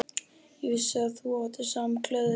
Og á vissan hátt samgleðst ég henni.